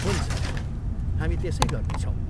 हुन्छ, हामी त्यसै गर्नेछौँ।